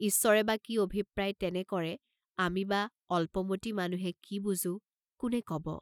ঈশ্বৰে বা কি অভিপ্ৰায়ে তেনে কৰে, আমি বা অল্পমতি মানুহে কি বুজো কোনে কব?